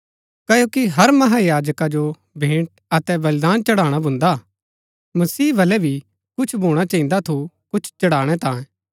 क्ओकि हर महायाजका जो भेंट अतै बलिदान चढ़ाणा भून्दा हा मसीह बलै भी कुछ भूणा चहिन्दा थू कुछ चढ़ाणै तांये